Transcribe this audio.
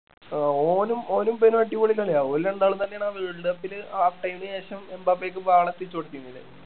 ആഹ് ഓനും ഓനും പിന്നെ അടിപൊളി കളിയാ ഓല് രണ്ടാളും തന്നെ ആണ് ആ world cup ല് half time ന് ശേഷം എംബാപേക്ക് ball എത്തിച്ചു കൊടുത്തിനില്ലേ